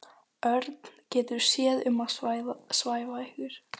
Örn getur séð um að svæfa ykkur.